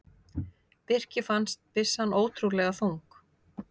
Birki fannst byssan ótrúlega þung.